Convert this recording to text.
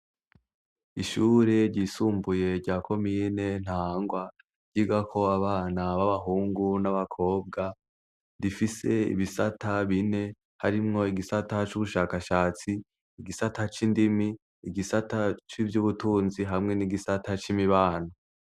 Ishuri ryisumbuye ryako miyine ntangwa ryiga ko abana b' abahungu n'abakobwa rifise ibisata bine harimwo igisata c'ubushakashatsi igisata c'indimi igisata c'ivyo ubutunzi hamwe n'igisata c'imibano.